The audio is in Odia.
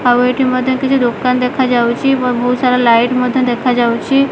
ଆଉ ଏଠି ମଧ୍ୟ କିଛି ଦୋକାନ ଦେଖାଯାଉଛି ବହୁତ୍ ସାରା ଲାଇଟ୍ ମଧ୍ୟ ଦେଖାଯାଉଛି।